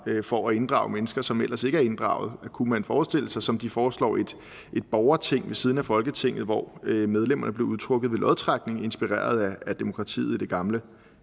for at inddrage mennesker som ellers ikke er inddraget kunne man forestille sig som de foreslår et borgerting ved siden af folketinget hvor medlemmerne blev udtrukket ved lodtrækning inspireret af demokratiet i det gamle